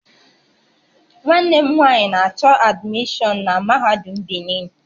Nwanne m nwanyị na-achọ admishọn na Mahadum Benin